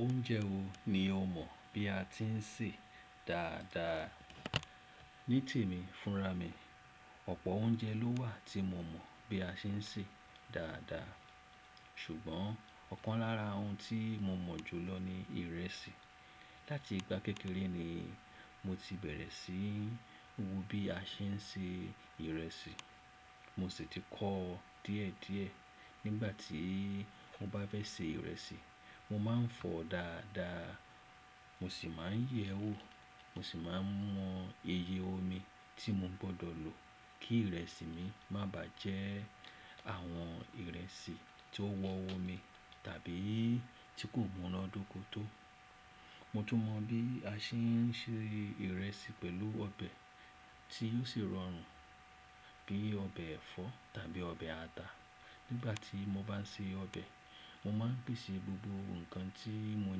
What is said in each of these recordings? Onjẹ wo ni o mọ̀ bí a ti ń sè dáadáa? Ní tèmi fúnra mi, ọ̀pọ̀ oúnjẹ ló wà tí mo mọ̀ bí a ṣe ń sè dáadáa ṣùgbọ́n ọ̀kan lára oun tí mo mọ̀ jù lọ ni ìrẹsì. Láti ìgbà kékeré ni mo ti bẹ̀rẹ̀ sí i wo bí aṣe ń se ìrẹsì, mo sì ti kọ ọ́ díẹ̀ díẹ̀. Nígbà tí mo bá fẹ́ se ìrẹsì, mo máa ń fọ dáadáa, mo sì máa ń yẹ̀ ẹ́ wò, mo sì máa ń mọ iye omi tí mo gbọ́dọ̀ lò kí ìrẹsì mi má ba jẹ́ àwọn ìrẹsì tó wọ omi tàbí tí kò mọ́ lọ́dọ̀ ko tó. Mo tún mọ bí a ṣe ń se ìrẹsì pẹ̀lú ọbẹ̀ tí yóò sì rọrùn bí i ọbẹ̀ ẹ̀fọ́ tàbí ọbẹ̀ ata. Nígbà tí mo báse ọbẹ̀, mo máa ń pèsè gbogbo ohun kan tí mo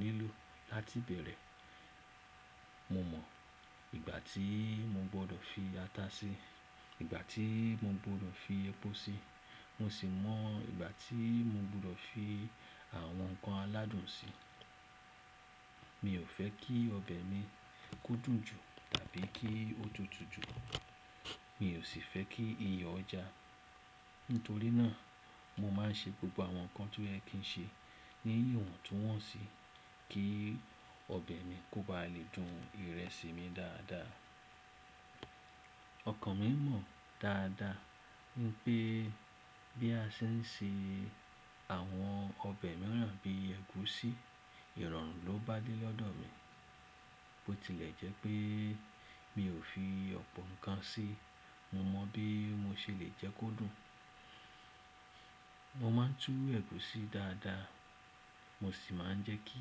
nílò láti bẹ̀rẹ̀. Mo mo ìgbà tí mo gbọ́dọ̀ fi ata sí i, ìgbà tí mo gbọ́dọ̀ fi ẹpo sí i, mo sì mọ ìgbà tí mo gbọ́dọ̀ fi àwọn nǹkan aládùn sí. Miò fẹ́ kí ọbẹ̀ mi kó dùn jù tàbí kí ó tutù jù, mi ò sì fẹ́ kí iyọ̀ já. Nítorí náà mo máa ń ṣe gbogbo àwọn ǹkan tó yẹ kín ṣe ní ìwọ̀ntúnwọ̀nsì kí ọbẹ̀ mi kó ba lè dùn ìrẹsì mi dáadáa. Ọ̀kan mi mọ̀ dáadáa wipé bí a ṣe ń se àwọn ọbẹ̀ mìíràn bi ẹ̀gúsí, ìrọ̀rùn ló bá dé lọ́dọ̀ mi. Botilẹ̀ jẹ́ pé mi ò fi ọ̀pọ̀ nǹkan si, mo mọ bí mo ṣe lè jẹ́ kó dùn. Mo máa ń túu ẹ̀gúsí dáadáa, mo sì máa ń jẹ́ kí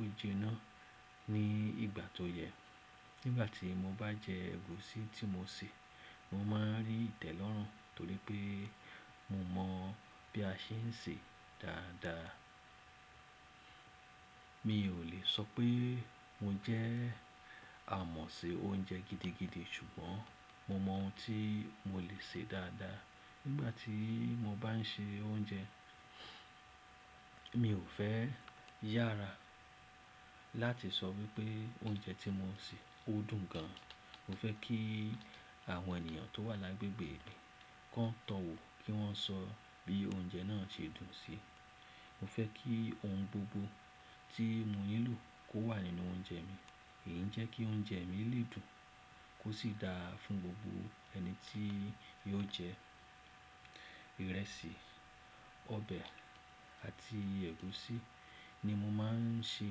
ó jẹ ná ní ìgbà tóyẹ. Nígbà tí mo bá jẹ ẹ̀gúsí tí mo sè, mo máa ń rí ìtẹ́ lọ́rùn torí pé mo mọ bí a ṣe ń sèe dáadáa. Mio lè sọ pé mo jẹ́ amọ̀ṣẹ oúnjẹ gidi gidi ṣùgbọ́n momọ ohun tí mo lè ṣe dáadáa. Nígbà tí mo bá ń se oúnjẹ, mi ò fẹ́ yára láti sọ wípé oúnjẹ tí mo sè ó dùn gan. Mo fẹ́ kí àwọn ènìyàn tó wà lágbegbe mi kọ́ tọwò kí wọ́n sọ bí oúnjẹ náà ṣe dùn si. Mo fẹ́ kí ohun gbogbo tí mo nílò kó wà nínú oúnjẹ mi, èyí ń jẹ́ kí oúnjẹ mi o lè dùn kó sì dáa fún gbogbo ẹni tí yóò jẹ. Ìrẹsì, ọbẹ̀ àti ẹ̀gúsí ni mo máa ń sè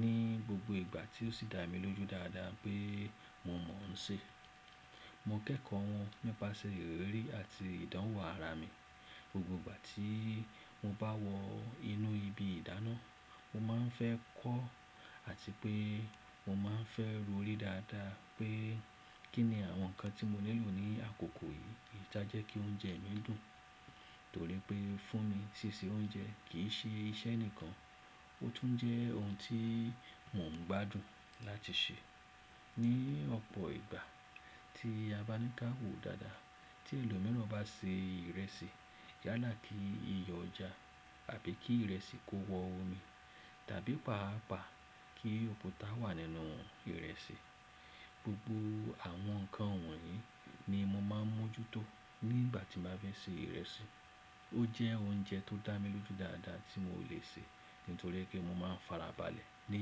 ní gbogbo ìgbà tí ó sì dámi lójú dáadáa pé mo mọ̀oṣe. Mo kẹ́kọ̀ọ́ wọn nípasẹ̀ ìrérí àti ìdánwò ara mi. Gbogbo ìgbà tí mo bá wọ inú ibi ìdáná, mo máa ń fẹ́ kọ́ àti pé mo máa ń fẹ́ ro ori dáadáa pé kíni àwọn nǹkan tí mo nílò ní àkókò yìí tí aje jẹ́ kí oúnjẹ mi dùn torí pé fúnmi ṣíṣe oúnjẹ kì í ṣe iṣẹ́ nìkan, ó tún jẹ́ ohun tí mò ń gbádùn láti ṣe. Ni ọ̀pọ̀ ìgbà tí a bá ní ká wò dáadáa tí ẹlòmíràn bá se ìrẹsì yálà kí iyọ̀ já àbí kí ìrẹsì kó wọ omi tàbí pàápàá kí òkotá wà nínú ìrẹsì. Gbogbo àwọn nǹkan wọ̀nyí ni mo máa ń mójútó nígbà tí nbá fẹ́ ṣe ìrẹsì. Ó jẹ́ oúnjẹ tó dá mi lójú dáadáa tí mo lè sè nítorí pé mo máa ń farabalẹ̀ ní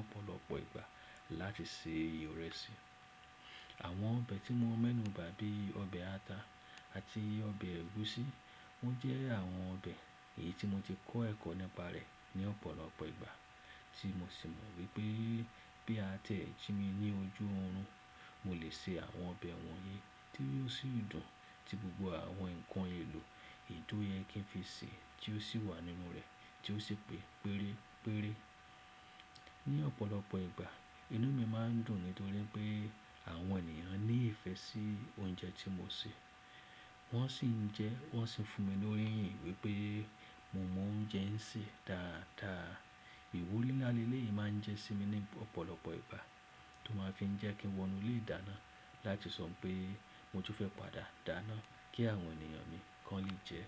ọ̀pọ̀lọpọ̀ ìgbà láti se ìrẹsì. Àwọn ọbẹ̀ tí mọ̀ menu bà bíi ọbẹ̀ ata àti ọbẹ̀ ẹ̀gúsí, ó jẹ́ àwọn ọbẹ̀ èyí tí mo ti kọ́ ẹ̀kọ́ nípa rẹ̀ ní ọ̀pọ̀lọpọ̀ ìgbà tí mo sì mọ̀ wípé bí a tẹ́ẹ̀ jí mi ní ojú run, mo lè ṣe àwọn ọbẹ̀ wọ̀nyan tío sì dùn tí gbogbo àwọn nǹkan èlò èyitò yẹ kí ń fi sè tí ó sì wà nínú rẹ̀ tí ó sì pé péré péré. Ní ọ̀pọ̀lọpọ̀ ìgbà, inú mi máa ń dùn nítorí pé àwọn ènìyàn ní ìfẹ́ sí oúnjẹ tí mosè, wọ́n sì ń jẹ, wọ́n sì ń fún mi lórí ìwé pé mo mọ oúnje sè dáadáa. Ìwúrí nlá ni èleyi máa ń jẹ́ sí mi ní ọ̀pọ̀lọpọ̀ ìgbà tó máa fiń jẹ́ kí n wonú lé ìdáná láti sọ pé mo tún fẹ́ padà dáná kí àwọn ènìyàn mi kọ́ lè jẹ́.